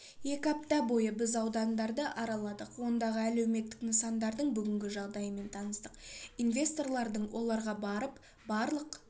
екі апта бойы біз аудандарды араладық ондағы әлеуметтік нысандардың бүгінгі жағдайымен таныстық инвесторлардың оларға барып барлық